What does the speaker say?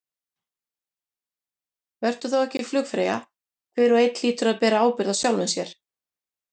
Vertu þá ekki flugfreyja, hver og einn hlýtur að bera ábyrgð á sjálfum sér.